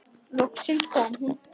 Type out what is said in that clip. Loksins kom hún.